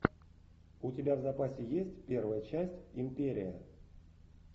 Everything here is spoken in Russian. у тебя в запасе есть первая часть империя